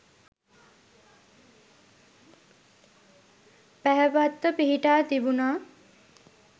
පැහැපත්ව පිහිටා තිබුණා.